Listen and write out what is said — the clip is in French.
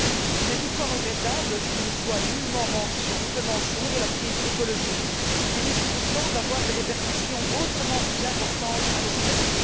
Il est toutefois regrettable qu'il ne soit nullement fait mention de la crise écologique qui risque pourtant d'avoir des répercussions autrement plus importantes à long terme.